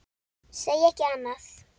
Segi ekki annað.